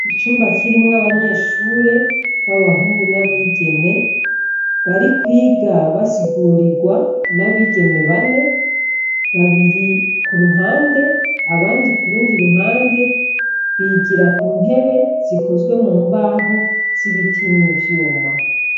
Icumba kirimwo abanyeshure babahungu n'abigeme, barikwiga basigurirwa n'abigeme bane, babiri k'uruhande, abandi kurundi ruhande, bigira ku ntebe zikozwe mu mbaho, z'ibiti n'ivyuma.